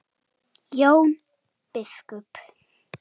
Jón biskup!